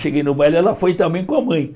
Cheguei no baile, ela foi também com a mãe.